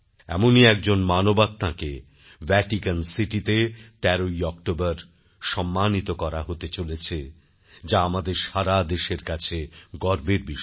এমনই একজন মানবাত্মাকে ভ্যাটিকান সিটিতে ১৩ অক্টোবর সম্মানিত করা হতে চলেছে যা আমাদের সারা দেশের কাছে গর্বের বিষয়